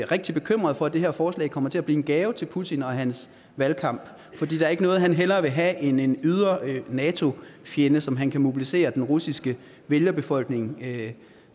rigtig bekymret for at det her forslag kommer til at blive en gave til putin og hans valgkamp for der er ikke noget han hellere vil have end en ydre nato fjende så han kan mobilisere den russiske vælgerbefolkning